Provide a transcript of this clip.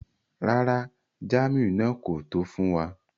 Rárá, jàmù náà kò tó fún wà.